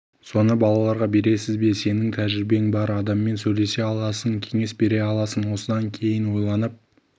соны балаларға бересіз бе сенің тәжірибең бар адаммен сөйлесе аласың кеңес бере аласың осыдан кейін ойланып